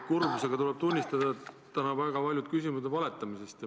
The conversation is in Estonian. Kurbusega tuleb tunnistada, et täna on väga paljud küsimused valetamise kohta.